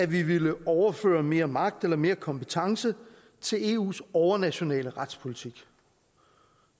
vi ville overføre mere magt eller mere kompetence til eus overnationale retspolitik